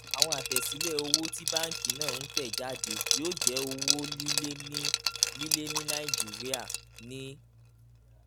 àwọn àtẹ̀sílẹ̀ owó tí banki náà ń tẹ̀ jáde yóò jẹ́ owó líle ní líle ní nàìjíríà ní